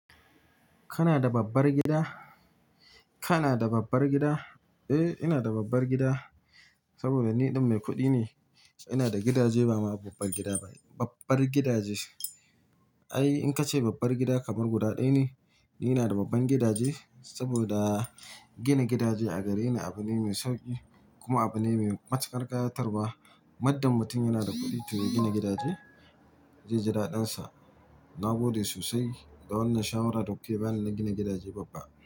Kana da babbar gida? Kana da babbar gida? Eh, ina da babbar gida saboda ni ɗin mai kuɗi ne. Ina da gidaje ba ma babbar gida ba, babbar gidaje. Ai in ka ce babbar gida kamar guda ɗaya ne. Ni ina da babban gidaje saboda gina gidaje a gare ni abu ne mai sauƙi kuma abu ne mai matukar ƙayatarwa. Muddin mutum yana da kuɗi toh ya gina gidaje, ze ji daɗin sa na gode sosai da wannan shawara da kuke bani na gina gidaje babba.